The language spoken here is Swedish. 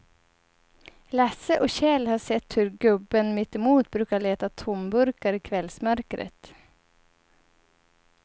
Lasse och Kjell har sett hur gubben mittemot brukar leta tomburkar i kvällsmörkret.